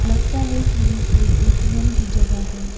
लगता है कि ये कोई ए_टी_एम की जगह है।